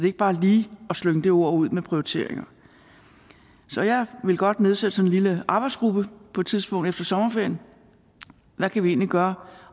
ikke bare lige at slynge det ord ud om prioriteringer så jeg ville godt nedsætte sådan en lille arbejdsgruppe på et tidspunkt efter sommerferien hvad kan vi egentlig gøre